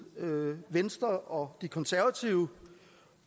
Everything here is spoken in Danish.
venstre og de konservative